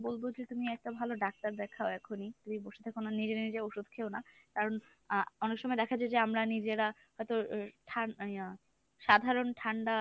বলবো যে তুমি একটা ভালো doctor দেখাও এখনি তুমি বসে থেকো না নিজে নিজে ঔষধ খেয়ো না, কারণ আহ অনেকসময় দেখা যায় যে আমরা নিজেরা হয়ত ইয়া সাধারন ঠান্ডা